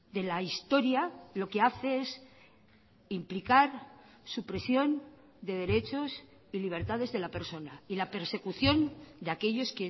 de la historia lo que hace es implicar supresión de derechos y libertades de la persona y la persecución de aquellos